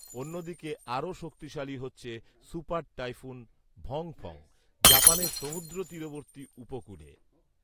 অন্যদিকে আরও শক্তিশালী হচ্ছে সুপার টাইফুন 'ভঙফঙ', জাপানের সমুদ্রতীরবর্তী উপকূলে